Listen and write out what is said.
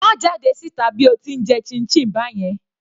Má jáde síta bí o ti ń jẹ chinchin báyẹn.